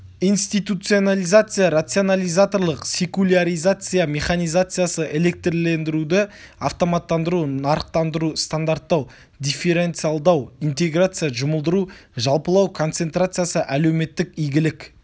институционализация рационализаторлық секуляризация механизациясы электрлендіруді автоматтандыру нарықтандыру стандарттау дифференциалдау интеграция жұмылдыру жалпылау концентрациясы әлеуметтік игілік